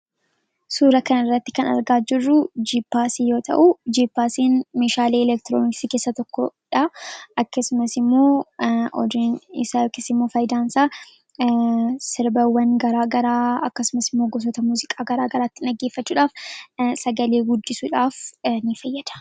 Suura kan irratti kan argaa jirru jippaasii yoo ta'uu, jippaasiin meeshaalee elektirooniksii keessa tokkodha, akkasumas immoo odeeffannoo dabarsuu fi akkasuma immoo faayidaa sirbawwan akkasumas immoo gosoota muuziqaa garaa garaattin dhaggeeffachuudhaaf sagalee guddisuudhaaf in fayyada.